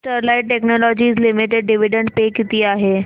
Sterlite technologies limited dividend pay किती आहे